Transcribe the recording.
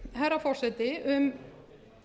herra forseti um